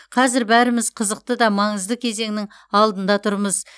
қазір бәріміз қызықты да маңызды кезеңнің алдында тұрмыз